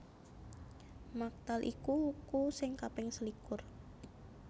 Maktal iku wuku sing kaping selikur